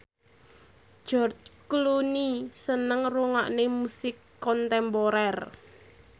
George Clooney seneng ngrungokne musik kontemporer